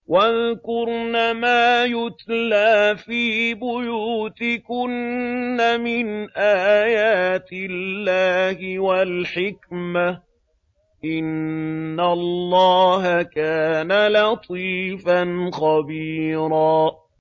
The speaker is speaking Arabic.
وَاذْكُرْنَ مَا يُتْلَىٰ فِي بُيُوتِكُنَّ مِنْ آيَاتِ اللَّهِ وَالْحِكْمَةِ ۚ إِنَّ اللَّهَ كَانَ لَطِيفًا خَبِيرًا